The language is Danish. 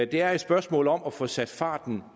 det er et spørgsmål om at få sat farten